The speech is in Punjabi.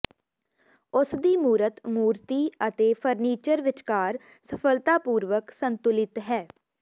ਉਸਦੀ ਮੂਰਤ ਮੂਰਤੀ ਅਤੇ ਫਰਨੀਚਰ ਵਿਚਕਾਰ ਸਫਲਤਾਪੂਰਵਕ ਸੰਤੁਲਿਤ ਹੈ